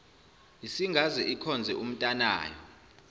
isingaze ikhonze umntanayo